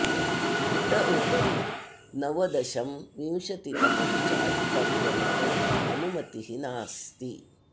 इतः उपरि नवदशं विंशतितमं च अट्टं गन्तुम् अनुमतिः नास्ति